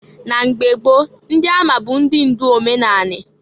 Na mgba gboo ndị ama bụ ndị ndụ omenanị.